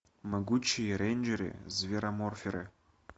могучие рейнджеры звероморферы